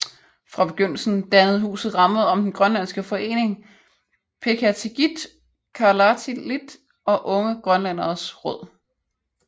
Fra begyndelsen dannede huset ramme om den grønlandske forening Peqatigiit Kalaallit og Unge Grønlænderes Råd